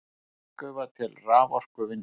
Jarðgufa til raforkuvinnslu